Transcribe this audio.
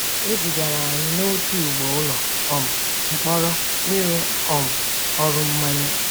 E zigara anyị n’otu ugbo ụlọ um mkpọrọ ịrụ um ọrụ mmanye.